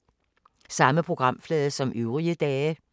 Samme programflade som øvrige dage